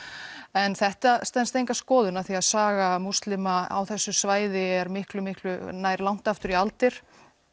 en þetta stenst enga skoðun af því að saga múslima á þessu svæði nær langt aftur í aldir